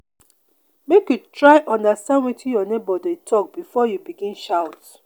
make you try understand wetin your nebor dey tok before you begin shout.